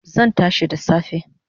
Zan tashi da safe